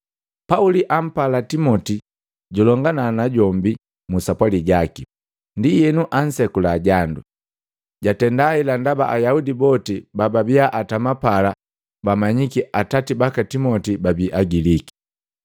Pauli ampala Timoti julongana najombi mu sapwali jaki, ndi enu ansekula jandu. Jatenda hela ndaba Ayaudi boti bababia atama pala bamanyiki atati baka Timoti babi Agiliki.